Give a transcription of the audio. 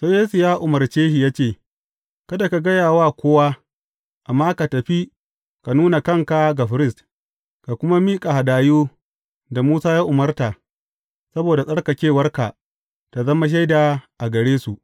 Sai Yesu ya umarce shi ya ce, Kada ka gaya wa kowa, amma ka tafi ka nuna kanka ga firist, ka kuma miƙa hadayu da Musa ya umarta, saboda tsarkakewarka ta zama shaida a gare su.